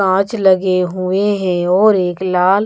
कांच लगे हुए हैं और एक लाल--